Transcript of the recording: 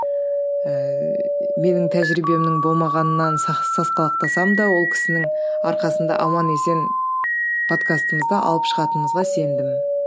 ыыы менің тәжірибемнің болмағанынан сасқалақтасам да ол кісінің арқасында аман есен подкастымызды алып шығатынымызға сендім